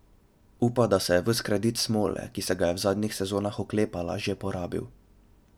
Upa, da je ves kredit smole, ki se ga je v zadnjih sezonah oklepala, že porabil.